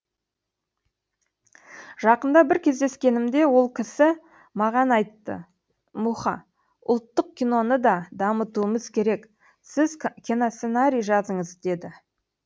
жақында бір кездескенімде ол кісі маған айтты мұха ұлттық киноны да дамытуымыз керек сіз киносценарий жазыңыз деді